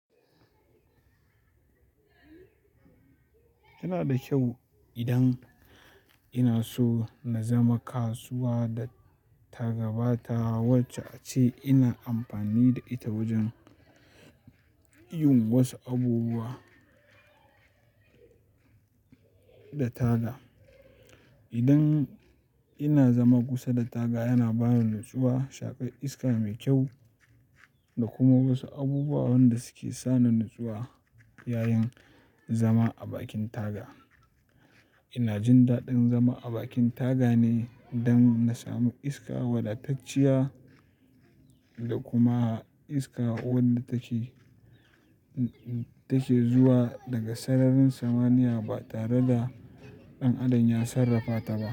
Yana da kyau idan ina so na zama kasuwa da tagabata wacce aca ina amfani da ita wajen yin wasu abubuwa da taga. Idan ina zama kusa da taga, yana bani nutsuwa, shaƙar iska mai kyau da kuma wasu abubuwan da suke sani nutsuwa yayin zama a bakin taga. Ina jin daɗin zama a bakin taga ne don na samu iska wadatacciya da kuma iska wadda take zuwa daga sararin samaniya ba tare da ɗan adam ya sarrafata ba.